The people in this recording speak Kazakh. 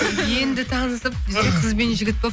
енді танысып біз де қыз бен жігіт болып